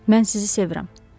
Mən sizi sevirəm.